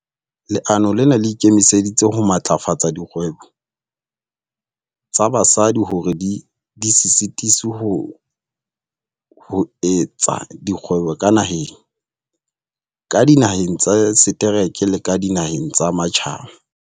Leano lena le ikemiseditse ho matlafatsa dikgwebo tsa basadi hore di se sitiswe ho etsa kgwebo ka naheng, ka dinaheng tsa setereke le ka dinaheng tsa matjhaba.